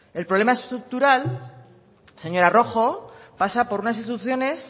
el problema estructural señora rojo pasa por unas instituciones